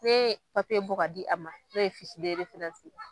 Ne papiye bɔ ka di a ma nin o ye